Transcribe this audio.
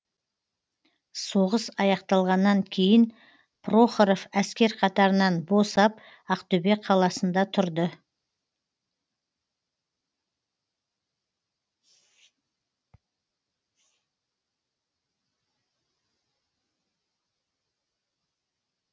соғыс аяқталғаннан кейін прохоров әскер қатарынан босап ақтөбе қаласында тұрды